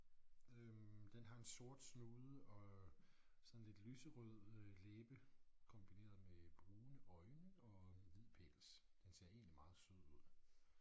Øh den har en sort snude og sådan lidt lyserød øh læbe kombineret med brune øjne og hvid pels. Den ser egentlig meget sød ud